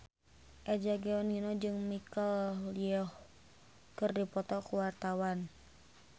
Eza Gionino jeung Michelle Yeoh keur dipoto ku wartawan